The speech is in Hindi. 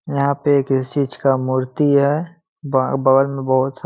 यहाँ पे एक इस चीज का मूर्ति है ब बगल में बहुत सा --